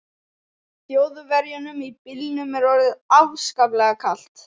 Þjóðverjunum í bílnum er orðið afskaplega kalt.